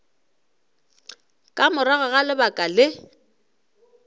ka morago ga lebaka le